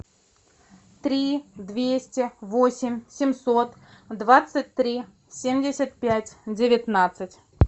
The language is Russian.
три двести восемь семьсот двадцать три семьдесят пять девятнадцать